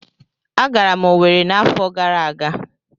Agara m Owerri n'afọ gara aga.